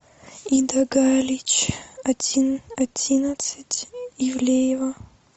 ида галич один одиннадцать ивлеева